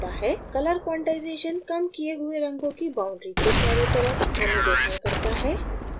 color quantization कम किये हुए रंगों की boundaries के चरों तरफ अनुरेखण करता है